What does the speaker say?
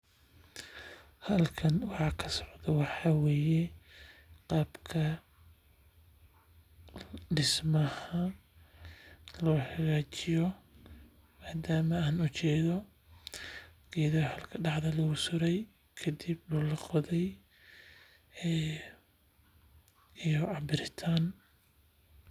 Halkan waxa kasocdo waxaa waye qaabka dismaha loo hagaajiye madama aan ujeedo geeda daxda lagu sure dul laqode iyo cabitaan.